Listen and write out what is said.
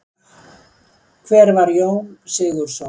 Hver var Jón Sigurðsson?